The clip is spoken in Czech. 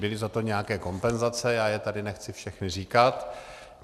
Byly za to nějaké kompenzace, já je tady nechci všechny říkat.